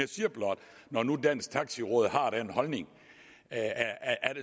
når nu dansk taxi råd har den holdning